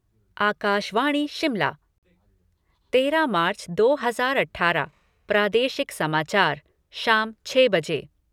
आकाशवाणी शिमला तेरह मार्च दो हज़ार अठारह प्रादेशिक समाचार शाम छः बजे